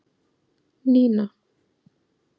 Nína